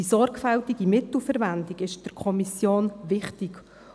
Die sorgfältige Mittelverwendung ist der Kommission wichtig.